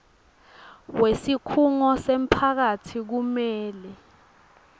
wesikhungo semphakatsi kumele